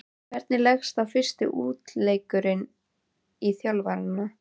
Hvernig leggst fyrsti útileikurinn í þjálfarann?